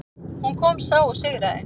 Hún kom, sá og sigraði.